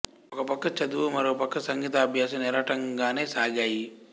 ఒక పక్క చదువు మరో పక్క సంగీతాభ్యాసం నిరాటంకంగానే సాగాయి